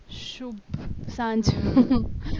શુભ સાંજ